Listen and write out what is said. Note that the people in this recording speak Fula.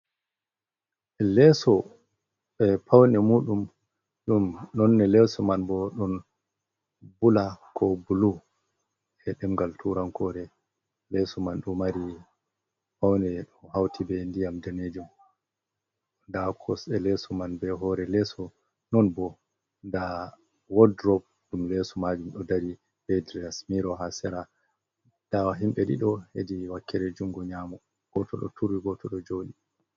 Lesso e paune muɗum ɗum nonne leso man bo ɗon bula ko bulu, e demgal turan kore, lesso man ɗo mari paune ɗo hauti be ndiyam danejum, nda kosɗe leso man be hore lesso non bo nda wordrop ɗum lesso majum ɗo dari, ɓe driasmiro ha sera, nda wa himɓɓe ɗiɗo hedi wakkere jungo nyamo, goto ɗo turi goto ɗo joɗi.